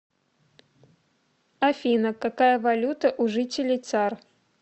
афина какая валюта у жителей цар